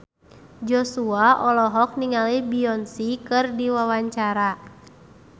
Joshua olohok ningali Beyonce keur diwawancara